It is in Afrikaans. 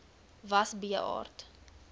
was b aard